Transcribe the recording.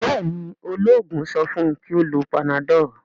béèni ,oloogun so fun kí o ló Panadol?